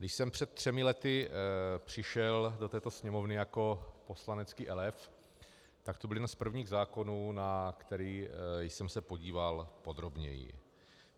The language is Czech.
Když jsem před třemi lety přišel do této Sněmovny jako poslanecký elév, tak to byl jeden z prvních zákonů, na který jsem se podíval podrobněji.